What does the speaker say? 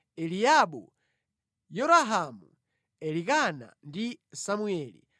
Eliabu, Yerohamu, Elikana ndi Samueli.